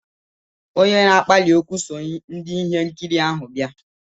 Onye na-akpali ókwú so ndị ihe nkiri ahụ bịa.